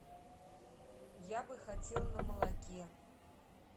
я бы хотел на молоке